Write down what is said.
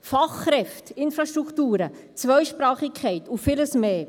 Fachkräfte, Infrastrukturen, Zweisprachigkeit und vieles mehr.